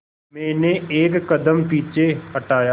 मैंने एक कदम पीछे हटाया